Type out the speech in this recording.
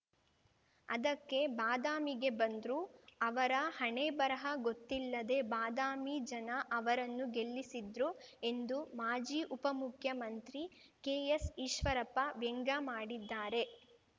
ಅದಕ್ಕೆ ಬಾದಾಮಿಗೆ ಬಂದ್ರು ಅವರ ಹಣೆಬರಹ ಗೊತ್ತಿಲ್ಲದೆ ಬಾದಾಮಿ ಜನ ಅವರನ್ನು ಗೆಲ್ಲಿಸಿದ್ರು ಎಂದು ಮಾಜಿ ಉಪ ಮುಖ್ಯಮಂತ್ರಿ ಕೆಎಸ್‌ ಈಶ್ವರಪ್ಪ ವ್ಯಂಗ್ಯಮಾಡಿದ್ದಾರೆ